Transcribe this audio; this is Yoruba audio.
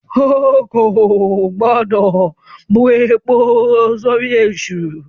O kò gbọ́dọ̀ bu epo sórí èṣù!